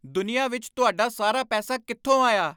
ਦੁਨੀਆ ਵਿੱਚ ਤੁਹਾਡਾ ਸਾਰਾ ਪੈਸਾ ਕਿੱਥੋਂ ਆਇਆ?